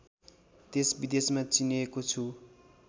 देशविदेशमा चिनिएको छु